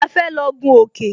A fẹ́ lọ gún òkè